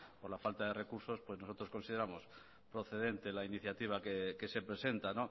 por la falta de recursos pues nosotros consideramos procedente la iniciativa que se presenta